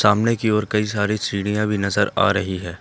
सामने की और कई सारी सीढ़ियां भी नजर आ रही हैं।